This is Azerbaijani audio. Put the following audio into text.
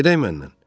Gedə bilmərəm.